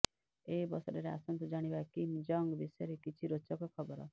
ଏହି ଅବସରରେ ଆସନ୍ତୁ ଜାଣିବା କିମ୍ ଜଙ୍ଗ ବିଷୟରେ କିଛି ରୋଚକ ଖବର